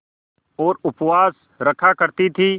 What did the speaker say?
और उपवास रखा करती थीं